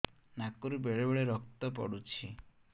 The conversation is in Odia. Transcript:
ନାକରୁ ବେଳେ ବେଳେ ରକ୍ତ ପଡୁଛି